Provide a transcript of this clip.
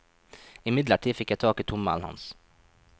Imidlertid fikk jeg tak i tommelen hans.